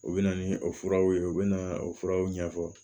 U bɛ na ni o furaw ye u bɛ na o furaw ɲɛfɔ